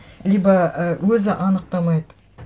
либо і өзі анықтамайды